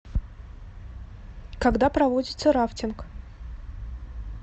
когда проводится рафтинг